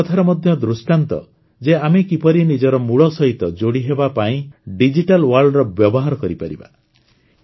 ଏହା ଏ କଥାର ମଧ୍ୟ ଦୃଷ୍ଟାନ୍ତ ଯେ ଆମେ କିପରି ନିଜର ମୂଳ ସହିତ ଯୋଡ଼ିହେବା ପାଇଁ ଡିଜିଟାଲ୍ ୱାର୍ଲଡର ବ୍ୟବହାର କରିପାରିବା